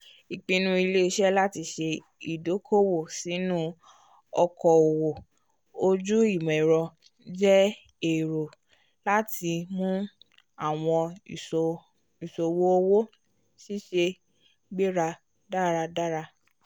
ipinnu ile-iṣẹ lati ṣe ìdòko-òwò sinu òkò-òwò ojú imọ-ẹrọ jẹ èrò lati mú àwọn ìṣòwò owó ṣiṣẹ́ gbéra dáradára